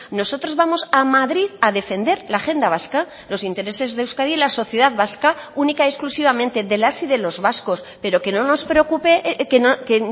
nosotros vamos a madrid a defender la agenda vasca los intereses de euskadi y la sociedad vasca única y exclusivamente de las y de los vascos pero que no nos preocupe que